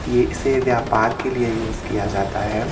ये इसे व्यापार के लिए यूज किया जाता है।